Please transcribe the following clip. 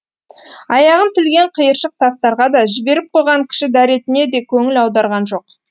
аяғын тілген қиыршық тастарға да жіберіп қойған кіші дәретіне де көңіл аударған жоқ